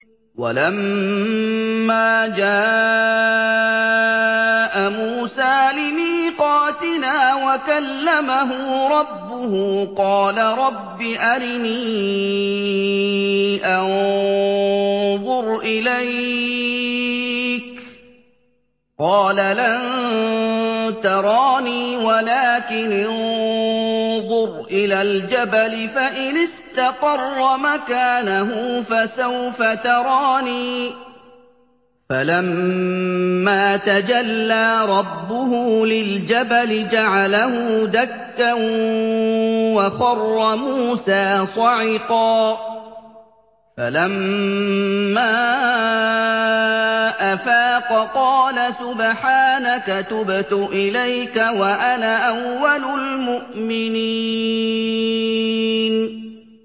وَلَمَّا جَاءَ مُوسَىٰ لِمِيقَاتِنَا وَكَلَّمَهُ رَبُّهُ قَالَ رَبِّ أَرِنِي أَنظُرْ إِلَيْكَ ۚ قَالَ لَن تَرَانِي وَلَٰكِنِ انظُرْ إِلَى الْجَبَلِ فَإِنِ اسْتَقَرَّ مَكَانَهُ فَسَوْفَ تَرَانِي ۚ فَلَمَّا تَجَلَّىٰ رَبُّهُ لِلْجَبَلِ جَعَلَهُ دَكًّا وَخَرَّ مُوسَىٰ صَعِقًا ۚ فَلَمَّا أَفَاقَ قَالَ سُبْحَانَكَ تُبْتُ إِلَيْكَ وَأَنَا أَوَّلُ الْمُؤْمِنِينَ